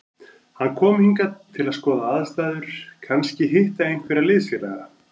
Hann kom hingað til að skoða aðstæður, kannski hitta einhverja liðsfélaga.